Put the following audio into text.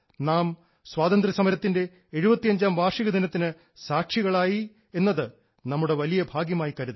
നാം സ്വാതന്ത്ര്യസമരത്തിൻറെ 75 ാം വാർഷികദിനത്തിന് സാക്ഷികളായി എന്നത് നമ്മുടെ വലിയ ഭാഗ്യമായി കരുതാം